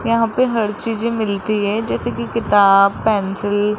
यहां पे हर चीजें मिलती है जैसे कि किताब पेंसिल ।